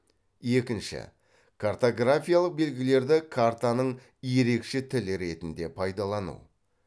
екінші картографиялық белгілерді картаның ерекше тілі ретінде пайдалану